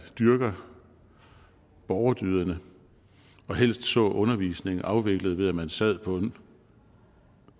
dyrker borgerdyderne og helst så undervisningen afviklet ved at man sad på en